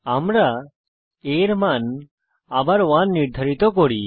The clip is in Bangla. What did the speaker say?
আমরা a এর মান আবার 1 নির্ধারিত করি